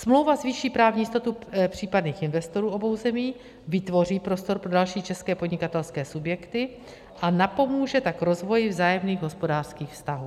Smlouva zvýší právní jistotu případných investorů obou zemí, vytvoří prostor pro další české podnikatelské subjekty, a napomůže tak rozvoji vzájemných hospodářských vztahů.